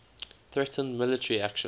threatened military actions